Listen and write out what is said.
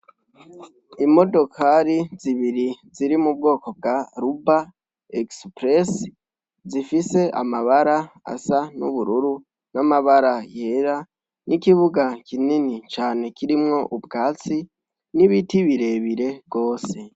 Imodokari zibiri ziri mu bwoko bwa Ruba express, zifise amabara asa n'ubururu n'amabara yera, n'ikibuga kinini cane kirimwo ubwatsi n'ibiti birebire gose.